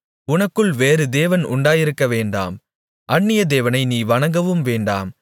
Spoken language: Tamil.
உனக்குள் வேறு தேவன் உண்டாயிருக்கவேண்டாம் அந்நிய தேவனை நீ வணங்கவும் வேண்டாம்